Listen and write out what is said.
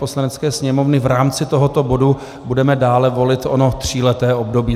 Poslanecké sněmovny v rámci tohoto bodu budeme dále volit ono tříleté období.